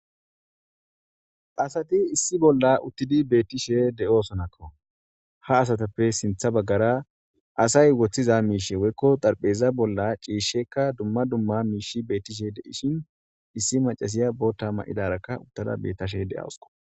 asati issi bolla uttidi beettishe de7oosonakko ha asatappe sintha baggara asay woththiza miishe woykko xarpheza bolla ciishshekka dumma dumma miishi beettishe de7ishin issi macasiya boota ma7idaraka uttada bettashe de7awusko